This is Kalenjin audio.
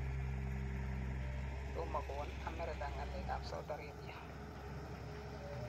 Tomokowol Amerika ngalek ab Saudi Arabia.